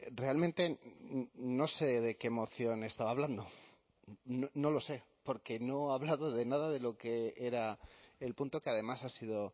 realmente no sé de qué moción estaba hablando no lo sé porque no ha hablado de nada de lo que era el punto que además ha sido